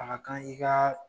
A Ka kan i gaa